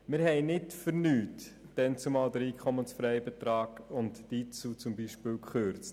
Wir haben damals nicht umsonst beispielsweise den EFB und die IZU gekürzt.